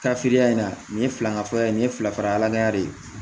Ka filiya in na nin ye fila ŋa fɔlɔ ye nin ye fila fara ala ya de ye